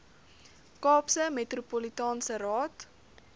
kaapse metropolitaanse raad